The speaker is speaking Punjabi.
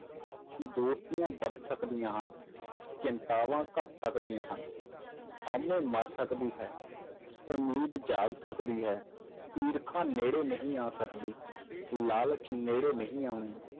ਦੋਸਤੀਆਂ ਵੱਧ ਸਕਦੀਆਂ ਹਨ ਚਿੰਤਾਵਾਂ ਘੱਟ ਸਕਦੀਆਂ ਹਨ, ਹਊਮੈ ਮਰ ਸਕਦੀ ਹੈ ਉਮੀਦ ਜਾਗ ਸਕਦੀ ਹੈ, ਈਰਖਾ ਨੇੜੇ ਨਹੀਂ ਆ ਸਕਦੀ, ਲਾਲਚ ਨੇੜੇ ਨਹੀਂ ਆਉਣਾ,